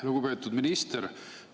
Lugupeetud minister!